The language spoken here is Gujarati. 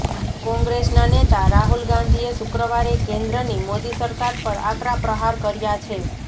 કોંગ્રેસના નેતા રાહુલ ગાંધીએ શુક્રવારે કેન્દ્રની મોદી સરકાર પર આકરા પ્રહાર કર્યા છે